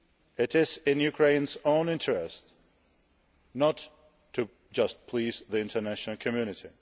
It is in Ukraine's own interest not just to please the international community.